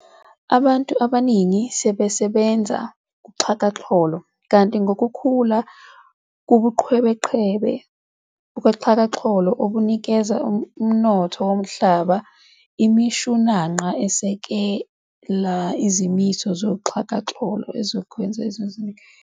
Abantu abaningi sebasebenza kuxhakaxholo, kanti ngokukhula kubuqhebeqhebe bakuxhakaxholo obunikela emnothweni womhlaba, imishunanqa eseka izimiso zoxhakaxholo ezokwenza inzuzo eningi.